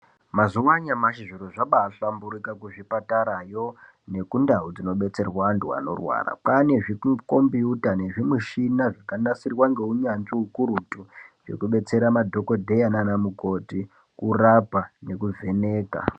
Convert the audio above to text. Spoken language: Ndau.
Mazuva anyamashi zviro zvabaahlamburuka kuzvipatarayo nekundau dzinodetserwa vantu vanorwara kwaane zvikukombuyuta nezvimishina zvakanasirwa neunyanzi ukurutu zvekudetsera anadhokodheya nanamukoti kurapa nekuvheneka.